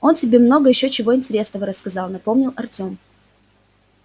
он тебе много ещё чего интересного рассказал напомнил артем